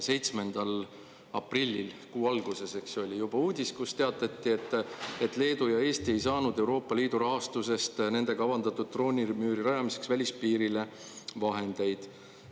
7. aprillil, kuu alguses, eks ju, oli juba uudis, kus teatati, et Leedu ja Eesti ei saanud Euroopa Liidu rahastusest nende kavandatud droonimüüri rajamiseks välispiirile vahendeid.